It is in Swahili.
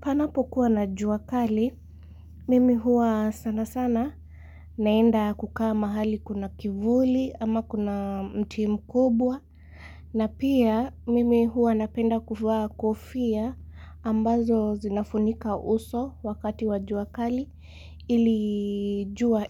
Panapo kuwa na juakali, mimi huwa sana sana naenda kukaa mahali kuna kivuli ama kuna mti mkubwa. Na pia mimi huwa napenda kufaa kofia ambazo zinafunika uso wakati wa juakali ilijua